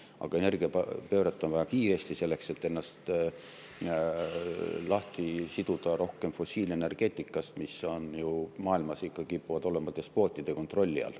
Aga energiapööret on vaja kiiresti, selleks et ennast rohkem lahti siduda fossiilenergeetikast, mis ju maailmas kipub olema despootide kontrolli all.